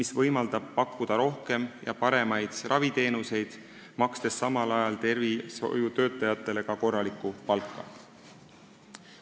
See võimaldab pakkuda rohkem ja paremaid raviteenuseid, makstes samal ajal tervishoiutöötajatele korralikku palka.